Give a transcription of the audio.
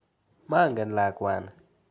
Mangen lakwani.